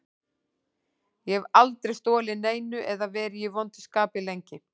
Ég hef aldrei stolið neinu eða verið í vondu skapi lengi.